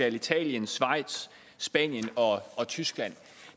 italien schweiz spanien og tyskland